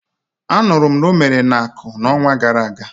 A nụrụ m na o mere n'Aku, n'onwa gara aga.